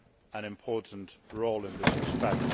an important role in this respect.